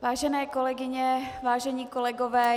Vážené kolegyně, vážení kolegové.